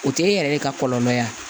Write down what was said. O tɛ e yɛrɛ de ka kɔlɔlɔ ye